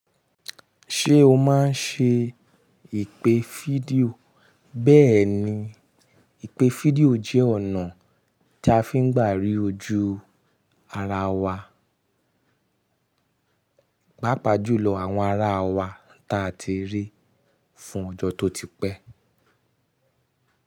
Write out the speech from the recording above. Ṣé o máa ń ṣe ìpè fídíò? Bẹ́ẹ̀ni, ìpè fídíò jẹ́ ọ̀nà tí a fi ń gbàrí ojú ara wa, gbápa jùlọ àwọn ara wa tí a ti rí fún ọjọ́ tó ti pẹ́